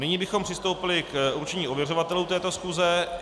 Nyní bychom přistoupili k určení ověřovatelů této schůze.